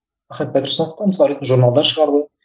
ахмет байтұрсынов та мысал ретінде журналдар шығарды